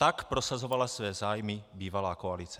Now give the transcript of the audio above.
Tak prosazovala své zájmy bývalá koalice.